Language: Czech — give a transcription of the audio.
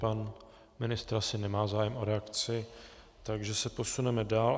Pan ministr asi nemá zájem o reakci, takže se posuneme dál.